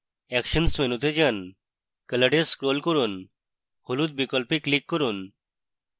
actions মেনুতে যান color এ scroll করুন হলুদ বিকল্পে click করুন